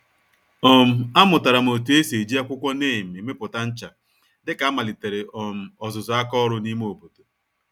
um A mụtaram otú esi eji akwụkwọ neem emepụta ncha, dịka a malitere um ọzụzụ àkà ọrụ n'ime obodo.